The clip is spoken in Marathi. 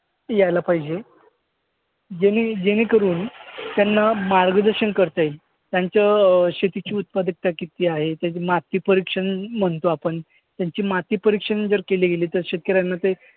यायला पाहिजे. जेणेजेणेकरून त्यांना मार्गदर्शन करता येईल. त्यांचं अं शेतीची उत्पादकता किती आहे? त्याचं मातीपरीक्षण म्हणतो आपण. त्यांची मातीपरीक्षण जर केली गेली गेली तर शेतकऱ्यांना ते